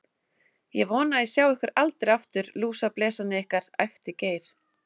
Ég vona að ég sjái ykkur aldrei aftur, lúsablesarnir ykkar, æpti Geir.